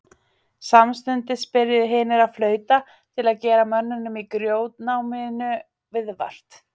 Samstundis byrjuðu hinir að flauta til að gera mönnunum í grjótnáminu viðvart.